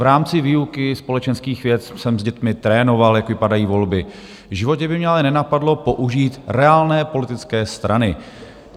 V rámci výuky společenských věd jsem s dětmi trénoval, jak vypadají volby, v životě by mě ale nenapadlo použít reálné politické strany.